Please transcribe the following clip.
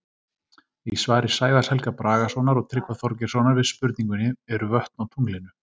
Í svari Sævars Helga Bragasonar og Tryggva Þorgeirssonar við spurningunni Eru vötn á tunglinu?